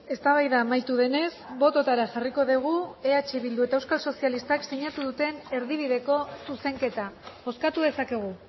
eztabaida amaitu denez bototara jarriko dugu eh bildu eta euskal sozialistak sinatu duten erdibideko zuzenketa bozkatu dezakegu